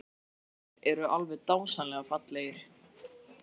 Steindu gluggarnir eru alveg dásamlega fallegir!